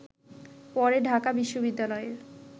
পরে ঢাকা বিশ্ববিদ্যালয়ের